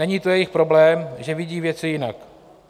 Není to jejich problém, že vidí věci jinak.